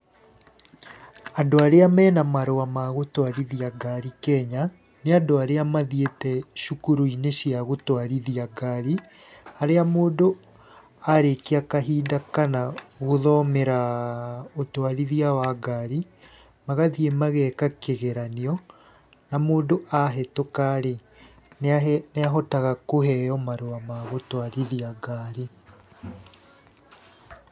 Andũ arĩa mena marũa ma gũtwarithia ngari Kenya, nĩ andũ arĩa mathiĩte cukuru-inĩ cia gũtwarithia ngari, harĩa mũndũ arĩkia kahinda kana gũthomera ũtwarithia wa ngari, magathiĩ mageka kĩgeranio na mũndũ ahĩtũka rĩ, nĩ ahotaga kũheo marũa ma gũtwarithia ngari.